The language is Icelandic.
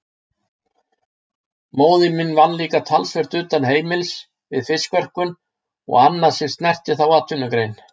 Móðir mín vann líka talsvert utan heimilisins við fiskverkun og annað sem snerti þá atvinnugrein.